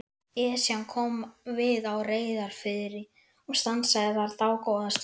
Esjan kom við á Reyðarfirði og stansaði þar dágóða stund.